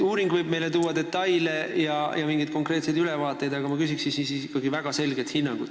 Uuring võib tuua välja detaile ja pakkuda mingeid konkreetseid ülevaateid, aga ma küsin ikkagi väga selget hinnangut.